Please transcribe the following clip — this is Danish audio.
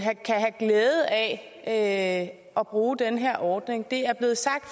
have glæde af at bruge den her ordning det er blevet sagt